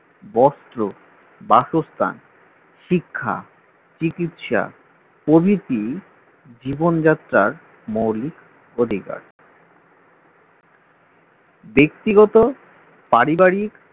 বস্ত্র বাসস্থান শিক্ষা চিকিৎসা প্রভৃত জীবনযাত্রার মৌলিক অধিকার ব্যক্তিগত পারিবারিক